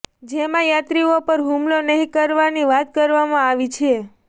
જેમાં યાત્રીઓ પર હુમલો નહીં કરવાની વાત કરવામાં આવી છે